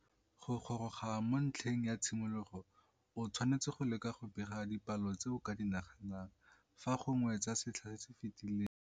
Go goroga mo ntlheng ya tshimologo o tshwanetse go leka go bega dipalo tse o ka di naganang, fa gongwe tsa setlha se se fetileng.